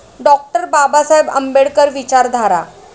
डॉ. बाबासाहेब आंबेडकर विचारधारा